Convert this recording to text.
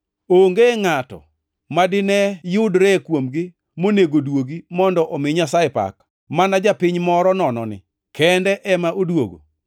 Onge ngʼato madineyudre kuomgi monego duogi mondo omi Nyasaye pak, mana japiny moro nononi kende ema odwogo?”